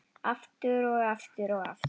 Aftur og aftur og aftur.